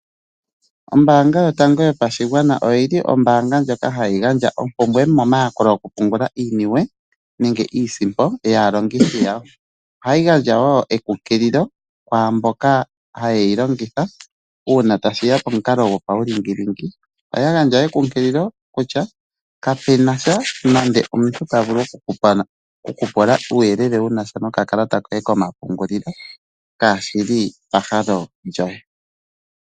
Ombaanga yotango yopashigwana oyili Ombaanga ndjoka hayi gandja ompumbwe momayakulo goku pungula iiniwe nenge iisimpo yaalongithi yayo . Ohayi gandja woo ekunkililo kwaamboka ha yeyi longitha uuna tashiya pamukalo gwopawulingilingi. Ohaya gandja ekunkililo kutya kapenasha nande omuntu tavulu oku kupula uuyelele wunasha no kakalata koye komapungulilo kashili pahale lyoye.